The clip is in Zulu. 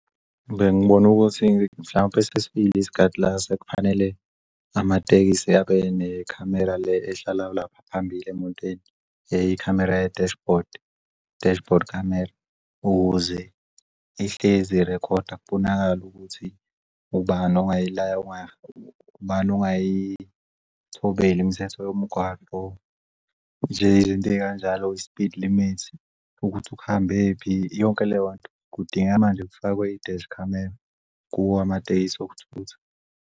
Bengibona ukuthi mhlawumpe sesifikile isikhathi la sekufanele amatekisi abe nekhamera le ehlala lapha phambili emontweni, ikhamera ye-dashboard, dashboard camera, ukuze ihlezi irikhoda kubonakale ukuthi ubani ongayithobeli imithetho yomgwaqo. Nje izinto eyikanjalo, i-speed limit ukuth'hambephi yonke leyo nto. Kudingeka manje kufakwe i-dash camera kuwo amatekisi okuthutha.